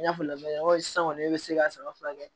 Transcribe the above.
I n'a fɔ la sisan kɔni e be se ka saba furakɛ